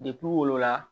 wolo la